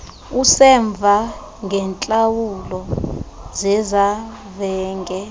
usemva ngeentlawulo zezavenge